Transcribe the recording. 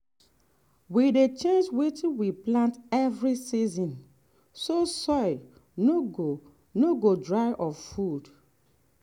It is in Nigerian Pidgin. we dey change wetin we plant every season so soil no go no go dry of food.